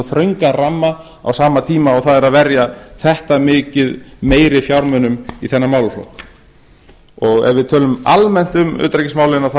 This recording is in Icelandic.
þröngan ramma á sama tíma og það er að verja þetta mikið meiri fjármunum í þennan málaflokk ef við tölum almennt um utanríkismálin